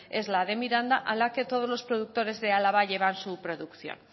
es la de miranda a la que todos los productores de álava llevan su producción